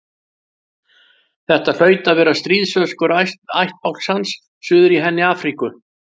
Þetta hlaut að vera stríðsöskur ættbálks hans suður í henni Afríku.